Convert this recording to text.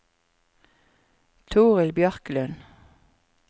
Torill Bjørklund